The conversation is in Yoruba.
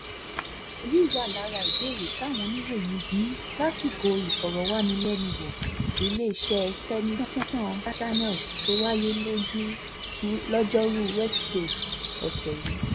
ọ̀rọ̀ yìí wà lára ìbéèrè táwọn oníròyìn bi í lásìkò ìfọ̀rọ̀wánilẹ́nuwò iléeṣẹ́ channels tó wáyé loju lojoruu wesidee ọ̀sẹ̀ yìí